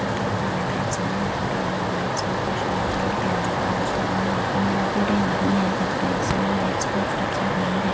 थोड़े घर में लाइट ऑन है थोड़े घर में लाइट्स ऑफ है शायद और भी अंधेरा हो तो ऑन रखेंगे नहीं है घर पे इसलिए लाइट्स ऑफ रखी हुई है।